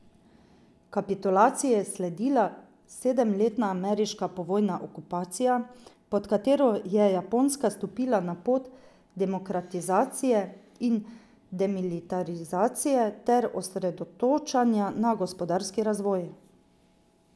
Kapitulaciji je sledila sedemletna ameriška povojna okupacija, pod katero je Japonska stopila na pot demokratizacije in demilitarizacije ter osredotočanja na gospodarski razvoj.